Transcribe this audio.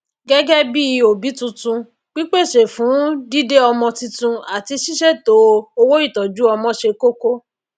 gégé bí òbí titun pípèsè fún dídé ọmọ titun àti sísètò owóìtójú ọmọ se kókó